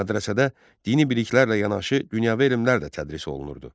Mədrəsədə dini biliklərlə yanaşı dünyəvi elmlər də tədris olunurdu.